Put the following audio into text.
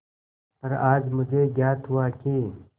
पर आज मुझे ज्ञात हुआ कि